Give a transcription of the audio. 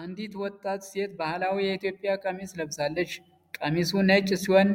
አንዲት ወጣት ሴት ባህላዊ የኢትዮጵያ ቀሚስ ለብሳለች። ቀሚሱ ነጭ ሲሆን